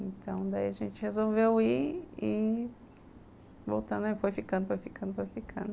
Então, daí a gente resolveu ir e... Voltando aí, foi ficando, foi ficando, foi ficando.